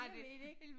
Jeg ved det ikke